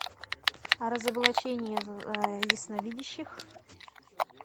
разоблачение ясновидящих